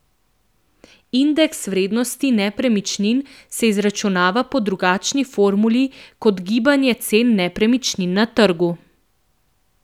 Indeks vrednosti nepremičnin se izračunava po drugačni formuli kot gibanje cen nepremičnin na trgu.